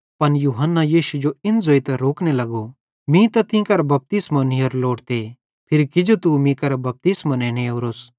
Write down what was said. पन यूहन्ना यीशु जो इन ज़ोइतां रोकने लगो मीं तीं करां बपतिस्मो नीयोरो लोड़ते फिरी किजो तू मीं करां बपतिस्मो नेने ओरोस